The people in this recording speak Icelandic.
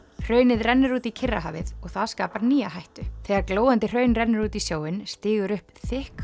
hraunið rennur út í Kyrrahafið og það skapar nýja hættu þegar glóandi hraun rennur út í sjóinn stígur upp þykk